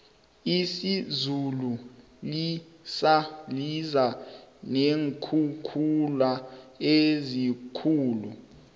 izulu liza neenkhukhula ezikhulu